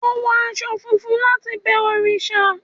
o wo aṣọ funfun latí bẹ òrìṣà